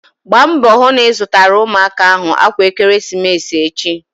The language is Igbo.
Gbaa mbọ hụ na ị zụtara ụmụaka ahụ akwa ekeresimesi echi!